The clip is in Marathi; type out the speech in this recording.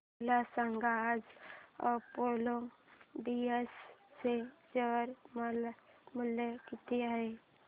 मला सांगा आज अपोलो टायर्स चे शेअर मूल्य किती आहे